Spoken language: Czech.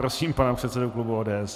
Prosím pana předsedu klubu ODS.